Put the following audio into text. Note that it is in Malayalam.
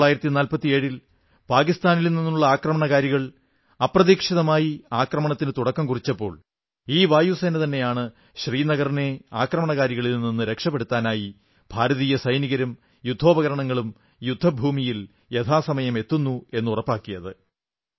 1947 ൽ പാകിസ്ഥാനിൽ നിന്നുള്ള ആക്രമണകാരികൾ അപ്രതീക്ഷിതമായ ആക്രമണത്തിന് തുടക്കമിട്ടപ്പോൾ ഈ വായുസേനതന്നെയാണ് ശ്രീനഗറിനെ ആക്രമണകാരികളിൽ നിന്ന് രക്ഷപ്പെടുത്താനായി ഭാരതീയ സൈനികരും യുദ്ധോപകരണങ്ങളും യുദ്ധഭൂമിയിൽ യഥാസമയം എത്തുന്നുവെന്ന് ഉറപ്പാക്കിയത്